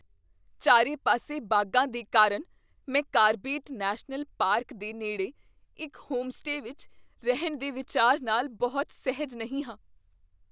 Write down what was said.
ਚਾਰੇ ਪਾਸੇ ਬਾਘਾਂ ਦੇ ਕਾਰਨ ਮੈਂ ਕਾਰਬੇਟ ਨੈਸ਼ਨਲ ਪਾਰਕ ਦੇ ਨੇੜੇ ਇੱਕ ਹੋਮਸਟੇ ਵਿੱਚ ਰਹਿਣ ਦੇ ਵਿਚਾਰ ਨਾਲ ਬਹੁਤ ਸਹਿਜ ਨਹੀਂ ਹਾਂ।